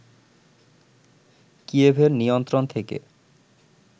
কিয়েভের নিয়ন্ত্রণ থেকে